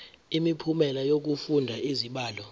imiphumela yokufunda izibalo